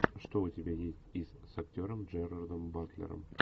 что у тебя есть из с актером джерардом батлером